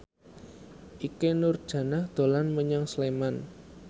Ikke Nurjanah dolan menyang Sleman